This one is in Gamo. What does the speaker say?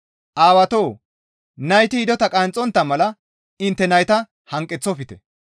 Aawatoo! Nayti hidota qanxxontta mala intte nayta hanqeththofte.